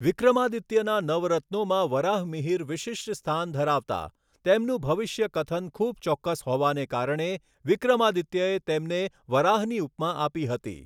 વિક્રમઆદિત્યના નવ રત્નોમાં વરાહમીહીર વિશિષ્ટ સ્થાન ધરાવતા. તેમનું ભવિષ્ય કથન ખુબ ચોકકસ હોવાને કારણે વિક્રમઆદિત્યએ તેમને વરાહની ઉપમા આપી હતી.